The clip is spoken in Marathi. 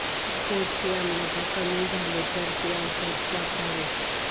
जर पोटचे आम्लता कमी झाले तर हे औषध वापरावे